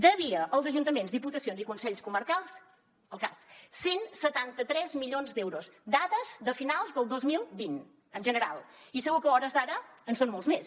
devia als ajuntaments diputacions i consells comarcals al cas cent i setanta tres milions d’euros dades de finals del dos mil vint en general i segur que a hores d’ara en són molts més